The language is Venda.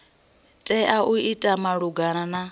tea u ita malugana na